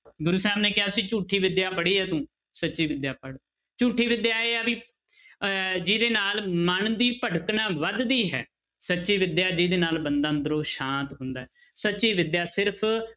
ਗੁਰੂ ਸਾਹਿਬ ਨੇ ਕਿਹਾ ਸੀ ਝੂਠੀ ਵਿਦਿਆ ਪੜ੍ਹੀ ਹੈ ਤੂੰ, ਸੱਚੀ ਵਿਦਿਆ ਪੜ੍ਹ, ਝੂਠੀ ਵਿਦਿਆ ਇਹ ਆ ਵੀ ਅਹ ਜਿਹਦੇ ਨਾਲ ਮਨ ਦੀ ਭਟਕਣਾ ਵੱਧਦੀ ਹੈ ਸੱਚੀ ਵਿਦਿਆ ਜਿਹਦੇ ਨਾਲ ਬੰਦਾ ਅੰਦਰੋਂ ਸ਼ਾਂਤ ਹੁੰਦਾ ਹੈ ਸੱਚੀ ਵਿਦਿਆ ਸਿਰਫ਼